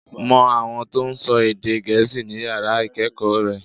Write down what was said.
Mo àwọn tó n sọ èdè gèésì ní yàrá ìkéèkó re